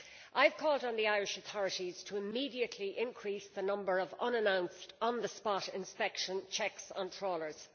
I have called on the Irish authorities to immediately increase the number of unannounced on the spot inspection checks on trawlers.